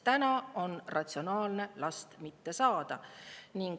Praegu on ratsionaalne last mitte saada.